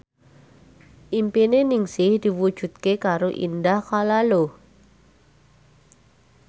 impine Ningsih diwujudke karo Indah Kalalo